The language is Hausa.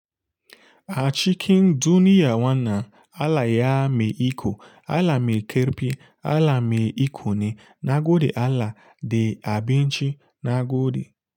A cikin duniya wannan, Allah ya mai iko, Allah mai ƙafi, Allah mai iko ne, na gode Allah da abinci, na gode.